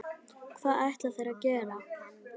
Hvað ætla þeir að gera?